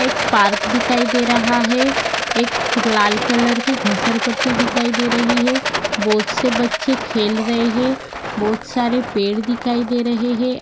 एक पार्क दिखाई दे रहा है एक लाल कलर की घसरपट्टी दिखाई दे रही है बहोत से बच्चे खेल रहे है बहोत सारे पेड़ दिखाई दे रहे है।